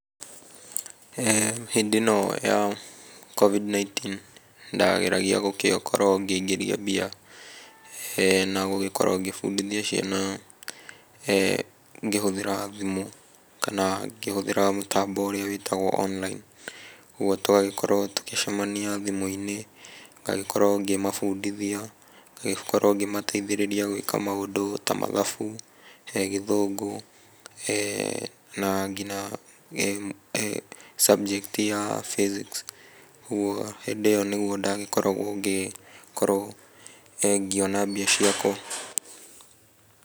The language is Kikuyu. Hĩndĩ ĩno ya Covid-19 ndageragia gũgĩkorwo ngĩingĩria mbia na gũgĩkorwo ngĩbundithia ciana ngĩhũthĩra thimũ kana ngĩhũthĩra mũtambo ũrĩa wĩtagwo online. Ũguo twagĩkoragwo tũgĩcemania thimũ-inĩ, ngagĩkorwo ngĩmabundithia, ngagĩkorwo ngĩmateithĩrĩria gwĩka maũndũ ta mathabu, gĩthũngũ na nginya subject ya physics. Ũguo hĩndĩ ĩyo nĩguo ndagĩkoragwo ngĩkorwo ngĩona mbia ciakwa .